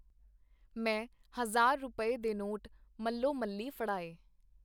ਮੈਂ ਹਜ਼ਾਰ ਰੁਪਏ, ਦੇ ਨੋਟ ਮਲਵੋਮਲੀ ਫੜਾਏ.